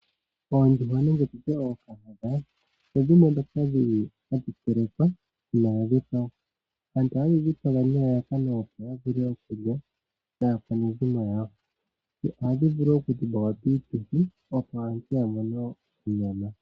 Oondjuhwa nenge tu tye ookahadha ohadhi telekwa uuna dha dhipagwa. Aantu ohaye dhi dhipaga, opo ya lye naakwanezimo yawo. Ohadhi vulu wo okudhipagwa piituthi, opo aantu ya mone onyama.